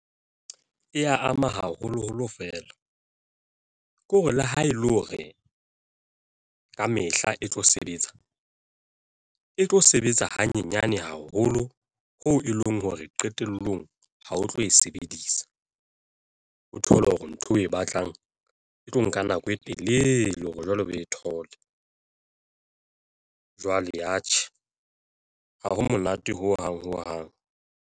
Eya ama haholoholo feela ke hore le ha e le hore ka mehla e tlo sebetsa e tlo sebetsa hanyenyane haholo ho e leng hore qetellong ha o tlo e sebedisa, o thole hore ntho o e batlang e tlo nka nako e telele hore jwale o e thole. Jwale atjhe ha ho monate ho hang hong hang.